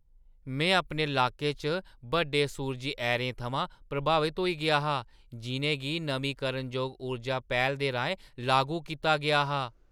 में अपने लाके च बड्डे सूरजी ऐरें थमां प्रभावत होई गेआ हा जिʼनें गी नमींकरणजोग ऊर्जा पैह्‌ल दे राहें लागू कीता गेआ हा।